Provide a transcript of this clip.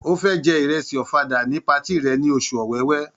Ó́ fẹ́ jẹ ìrẹsì ọ̀fadà ní patí rẹ̀ ní oṣù Ọ̀wẹwẹ̀.